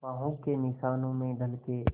बाहों के निशानों में ढल के